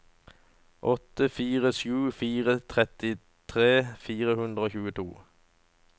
åtte fire sju fire trettitre fire hundre og tjueto